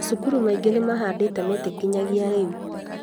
Macukuru maingĩ nĩmahandĩte mĩtĩ nginyagia rĩu